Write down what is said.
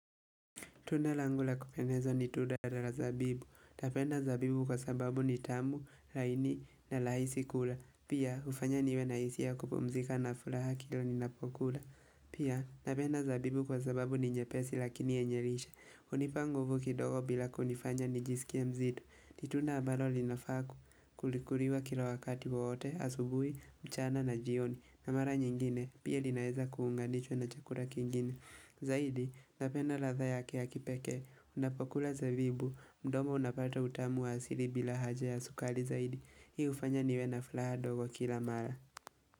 Tunda langu la kupendeza ni tunda la zabibu. Napenda zabibu kwasababu ni tamu, laini na rahisi kula. Pia, ufanya niwe na hisia ya kupumzika na furaha kila ninapokula. Pia, napenda zabibu kwasababu ni nyepesi lakini yenye lishe. Hunipa nguvu kidogo bila kunifanya nijisikie mzito. Ni tunda ambalo linafaa kuliwa kila wakati wote, asubuhi, mchana na jioni. Na mara nyingine, pia linaeza kuunganishwa na chakula kingine. Zaidi, napenda ladhaa yake ya kipekee Unapokula zabibu mdomo unapata utamu wa asili bila haja ya sukari zaidi Hii hufanya niwe na furaha dogo kila mara.